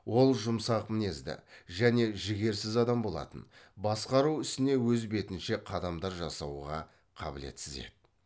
ол жұмсақ мінезді және жігерсіз адам болатын басқару ісіне өз бетінше қадамдар жасауға қабілетсіз еді